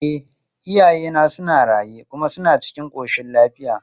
E, iyayena suna raye kuma suna cikin ƙoshin lafiya.